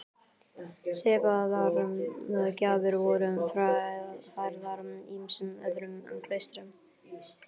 Svipaðar gjafir voru færðar ýmsum öðrum klaustrum.